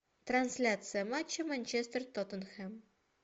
трансляция матча манчестер тоттенхэм